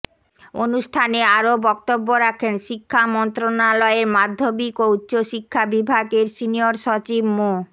অনুষ্ঠানে আরো বক্তব্য রাখেন শিক্ষা মন্ত্রণালয়ের মাধ্যমিক ও উচ্চ শিক্ষা বিভাগের সিনিয়র সচিব মো